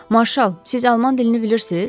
Marşal, siz alman dilini bilirsiz?